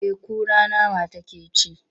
Eh kura nama take ci.